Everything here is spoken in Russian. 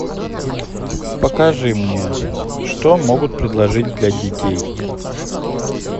покажи мне что могут предложить для детей